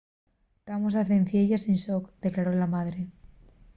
tamos a cencielles en shock” declaró la madre